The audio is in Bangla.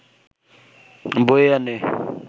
বয়ে আনে